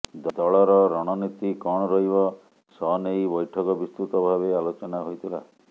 ଦଳର ରଣନୀତି କଣ ରହିବ ସନେଇ ବୈଠକ ବିତ୍ସୃତ ଭାବେ ଆଲୋଚନା ହୋଇଥିଲା